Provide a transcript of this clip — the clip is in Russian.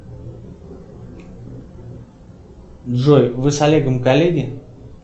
джой вы с олегом коллеги